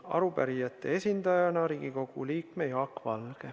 Arupärijate esindajana on sõna Riigikogu liikmel Jaak Valgel.